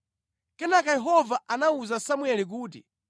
Kenaka Yehova anawuza Samueli kuti,